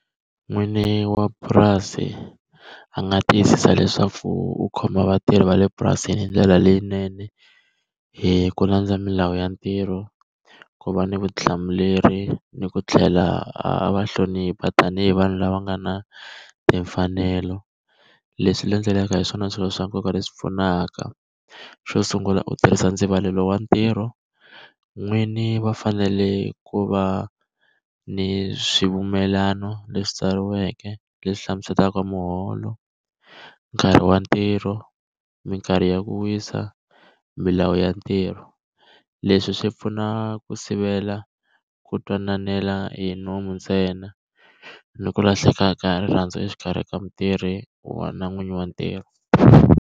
N'wini wa purasi a nga tiyisisa leswaku u khoma vatirhi va le purasini hi ndlela leyinene, hi ku landza milawu ya ntirho, ku va ni vutihlamuleri ni ku tlhela a va hlonipha tanihi vanhu lava nga na timfanelo. Leswi landzelaka hi swona swilo swa nkoka leswi pfunaka. Xo sungula u tirhisa ndzivalelo wa ntirho. N'wini va fanele ku va ni swimpfumelelano leswi tsariweke, leswi hlamuselaka muholo, nkarhi wa ntirho, mikarhi ya ku wisa, milawu ya ntirho. Leswi swi pfuna ku sivela ku twanana hi nomu ntsena, ni ku lahleka ka rirhandzu exikarhi ka mutirhi wa na n'winyi wa ntirho.